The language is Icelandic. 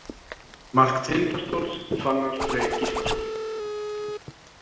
Mark Tindastóls: Fannar Freyr Gíslason.